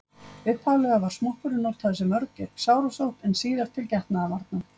Upphaflega var smokkurinn notaður sem vörn gegn sárasótt en síðar til getnaðarvarna.